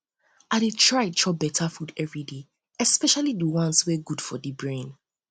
i dey try chop beta food everyday especially the ones ones wey good for the brain